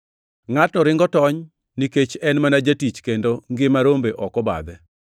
Ngʼatno ringo tony nikech en mana jatich kendo ngima rombe ok obadhe.